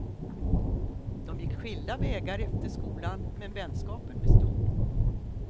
De gick skilda vägar efter skolan, men vänskapen bestod.